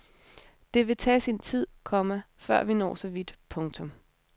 Det vil tage sin tid, komma før vi når så vidt. punktum